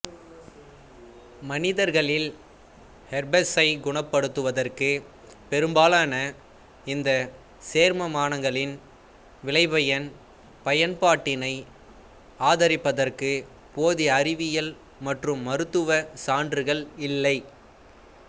மனிதர்களில் ஹெர்பெஸைக் குணப்படுத்துவதற்கு பெரும்பாலான இந்த சேர்மானங்களின் விளைபயன் பயன்பாட்டினை ஆதரிப்பதற்கு போதிய அறிவியல் மற்றும் மருத்துவச் சான்றுகள் இல்லை